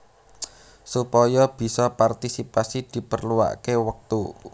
Supaya bisa partisipasi diperluaké wektu